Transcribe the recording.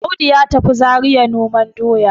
Audu ya tafi Zariya noman doya